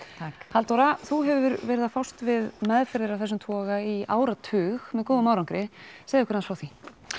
Halldóra þú hefur verið að fást við meðferðir af þessum toga í áratug með góðum árangri segðu okkur frá því